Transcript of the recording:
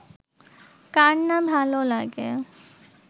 কার না ভালো লাগে